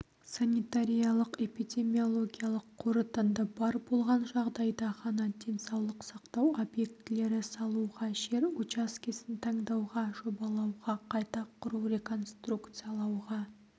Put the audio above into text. санитариялық-эпидемиологиялық қорытынды бар болған жағдайда ғана денсаулық сақтау объектілері салуға жер учаскесін таңдауға жобалауға қайта құру реконструкциялауға